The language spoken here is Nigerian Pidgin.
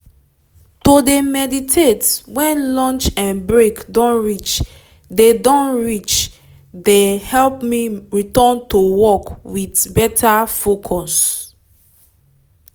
to de meditate when lunch um break don reach de don reach de help me return to work with better focus.